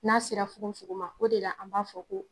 N'a sera fugonfugon ma, o de la an b'a fɔ ko